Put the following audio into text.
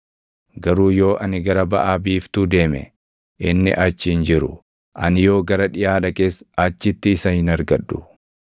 “Garuu yoo ani gara baʼa biiftuu deeme, inni achi hin jiru; ani yoo gara dhiʼaa dhaqes achitti isa hin argadhu.